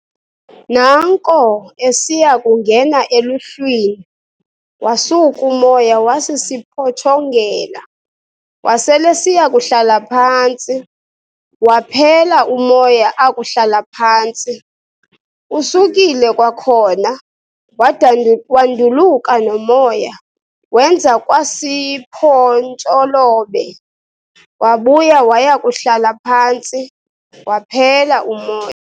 Naanko esiya kungena eluhlwini, wasuk'umoya wasisiphotshongela, wasel'esiya kuhlala phantsi, waphela umoya akuhlala phantsi. Usukile kwakhona, wanduluka nomoya, wenza kwa siphontsholobe, wabuya waya kuhlala phantsi, waphela umoya.